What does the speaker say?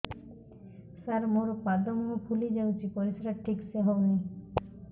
ସାର ମୋରୋ ପାଦ ମୁହଁ ଫୁଲିଯାଉଛି ପରିଶ୍ରା ଠିକ ସେ ହଉନି